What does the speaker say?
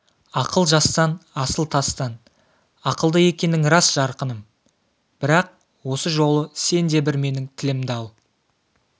ақыл жастан асыл тастан ақылды екенің рас жарқыным бірақ осы жолы сен де бір менің тілімді ал